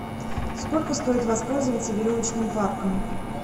сколько стоит воспользоваться веревочным парком